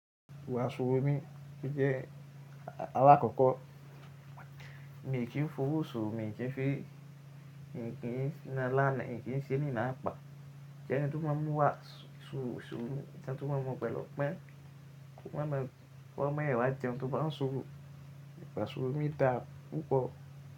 Wa sùúrù mi ti jẹ́ alákọ̀ọ́kọ́. Mi kì í fowó sùrù, mi kì í fi nǹkan sílẹ̀ láti ṣe nǹkan ní apá. Ọ̀tẹ́ tuntun máa ń mú wá sùrù, tẹ́ tuntun máa ń mú pẹ̀lú ọgbọn, kó máa fi ọwọ mẹwa jẹun tó bá ń sùrù. Wa sùrù mí tà, kò pọ̀